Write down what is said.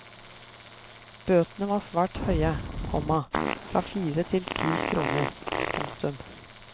Bøtene var svært høye, komma fra fire til ti kroner. punktum